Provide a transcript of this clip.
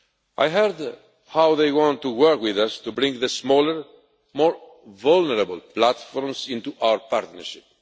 I heard how they want to work with us to bring the smaller, more vulnerable platforms into our partnership.